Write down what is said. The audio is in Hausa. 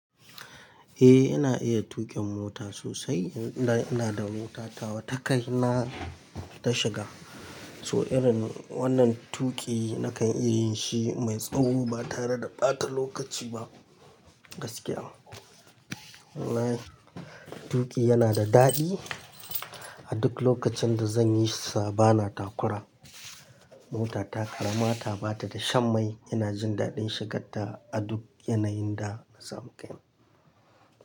Eh, ina iya tuƙin mota sosai. Ina da motata tawa ta kaina ta shiga, so irin wannan tuƙi nakan yi shi mai tsawo ba tare da ɓata lokaci ba gaskiya. Tuƙi yana da daɗi. A duk lokacin da zan yi sa bana takura. Motata ƙarama ta ba ta da shan mai. Ina jin daɗin shigar da a duk yanayin da na samu kai.